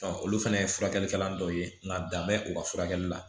olu fana ye furakɛlikɛla dɔ ye nka dan bɛ u ka furakɛli la